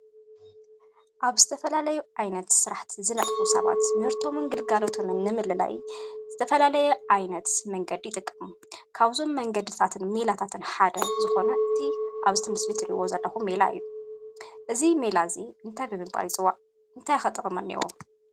ኣብ ዝተፈላለየ ዓይነት ስራሕ ዝነጥፉ ሰባት ምህርቶምን ግልጋሎቶምን ንምልላይ ዝተፈላለየ ዓይነት መንገዲ ይጥቀሙ፡፡ ካብዞም መንገድታትን ሜላታትን ሓደ ዝኾነ እቲ ኣብቲ ምስሊ ትሪእዎ ዘለኹም ሜላ እዩ፡፡ እዚ ሜላ እዚ እንታይ ብምባል ይፅዋዕ እንታይ ጥቕሚ ከ እኒአዎ?